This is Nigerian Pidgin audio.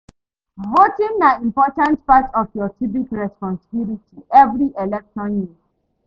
Voting na important part of yur civic responsibility evri election year